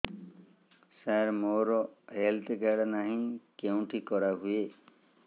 ସାର ମୋର health card ନାହିଁ କେଉଁଠି କରା ହୁଏ